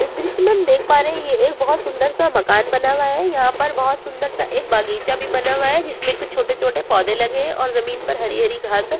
इस दृश्य में हम देख पा रहे हैं यह एक बहुत सुंदर सा मकान बना हुआ है यहाँ पर बहुत सुंदर सा एक बागीचा भी बना हुआ है जिसमें कुछ छोटे-छोटे पौधे लगे हैं और ज़मीन पर हरी-हरी घाँस हैं।